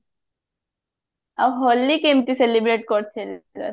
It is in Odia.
ଆଉ ହୋଲି କେମତି celebrate କରିଥିଲୁ